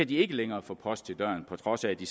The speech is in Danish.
de ikke længere få post til døren på trods af at de